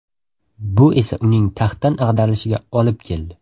Bu esa uning taxtdan ag‘darilishiga olib keldi.